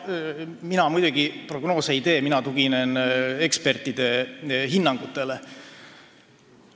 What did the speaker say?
Mina muidugi prognoose ei tee, mina tuginen ekspertide hinnangutele.